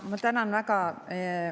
Ma tänan väga.